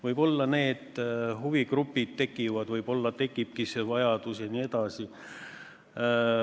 Võib-olla need huvigrupid tekivad, võib-olla tekib see vajadus jne.